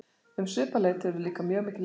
Um svipað leyti urðu líka mjög mikil eldgos.